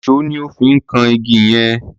Ìṣó ni ó fi ń kan igi yẹn.